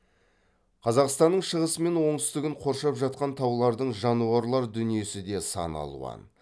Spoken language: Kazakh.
қазақстанның шығысы мен оңтүстігін қоршап жатқан таулардың жануарлар дүниесі де сан алуан